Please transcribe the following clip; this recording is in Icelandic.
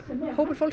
hópur fólks